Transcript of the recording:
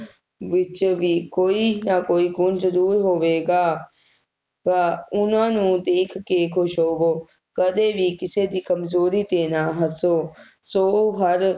ਵਿਚ ਵੀ ਕੋਈ ਨਾ ਕੋਈ ਗੁਣ ਜਰੂਰ ਹੋਵੇਗਾ ਤਾ ਓਹਨਾ ਨੂੰ ਦੇਖ ਕੇ ਖੁਸ਼ ਹੋਵੋ ਕਦੇ ਵੀ ਕਿਸੇ ਦੀ ਕਮਜ਼ੋਰੀ ਤੇ ਨਾ ਹੱਸੋ ਸੋ ਹਰ